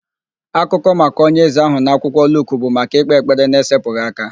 Akụkọ maka onye eze ahụ na akwụkwọ Luk bụ maka ịkpe ekpere n'esepụghị aka.